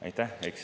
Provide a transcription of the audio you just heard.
Aitäh!